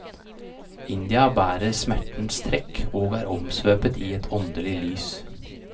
India bærer smertens trekk og er omsvøpet i et åndelig lys.